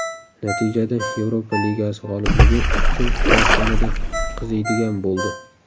Natijada Yevropa Ligasi g‘olibligi uchun kurash yanada qiziydigan bo‘ldi.